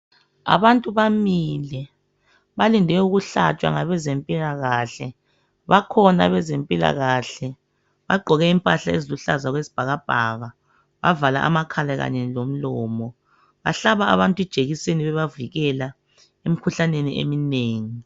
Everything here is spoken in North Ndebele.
Abantu bamile balinde ukuhlatshwa ngabezempilakahle, bakhona abazemphilakahle bagqoke impahla eziluhlaza okwesibhakabhaka bavale amakhala kanye lomlomo. Bahlaba abantu ijekiseni bebavikela emikhuhlaneni eminengi.